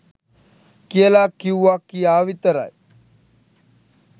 කියලා කිව්වා කියා විතරයි